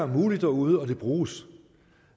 muligt derude og det bruges